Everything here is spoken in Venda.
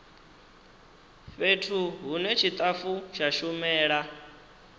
fhethu hune tshitafu tsha shumela